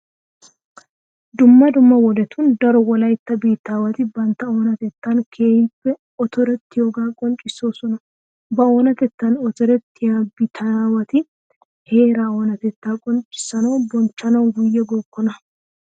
Dumma dumma wodetun daro wolaytta biittaawati bantta oonatettan keehippe otorettiyogaa qonccissoosona. Ba oonatettan otorettiya biittaawati heeraa oonatettaa qonccissanawunne bonchchanawu guyye gookkona.